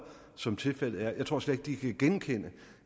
som tilfældet er jeg tror slet ikke at de kan genkende